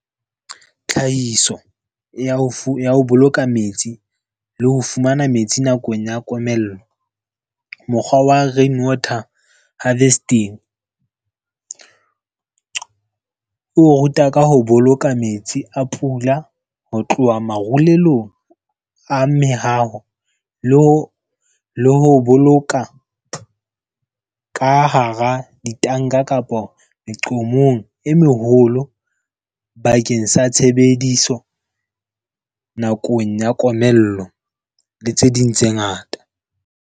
Tlhahiso ya ho boloka metsi le ho fumana metsi nakong ya komello, mokgwa wa rainwater harvesting. O ruta ka ho boloka metsi a pula ho tloha marulelong a mehaho, le ho boloka ka hara ditanka kapa meqomong e meholo bakeng sa tshebediso nakong ya komello le tse ding tse ngata.